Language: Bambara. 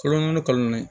Kalo naani kalo naani